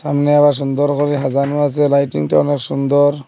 সামনে আবার সুন্দর করে হাজানো আসে লাইটিংটা অনেক সুন্দর।